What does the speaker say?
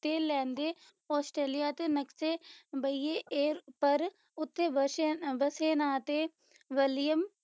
ਤੇ ਲਹਿੰਦੇ ਆਸਟ੍ਰੇਲੀਆ ਦੇ ਨਕਸ਼ੇ ਬਹੀਏ ਏਰ ਪਰ ਉੱਥੇ ਵਸਿਆ ਵਸੇ ਨਾ ਤੇ ਵਲੀਅਮ